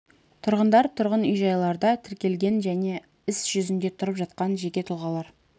тұрғындар тұрғын үй-жайларда тіркелген және іс жүзінде тұрып жатқан жеке тұлғалар